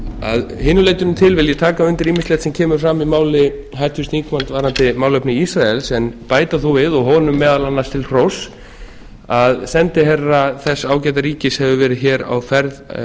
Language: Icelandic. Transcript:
að hinu leytinu til vil ég taka undir ýmsilegt sem kemur fram í máli háttvirts þingmanns varðandi málefni ísraels en bæta þó við og honum meðal annars til hróss að sendiherra þessa ágæta ríkis hefur verið á ferð